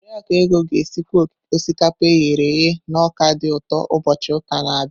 Oriakụ Ego ga-esikwa osikapa e ghere eghe na ọka dị ụtọ ụbọchị ụka na-abịa.